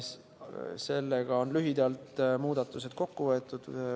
Sellega on muudatused lühidalt kokku võetud.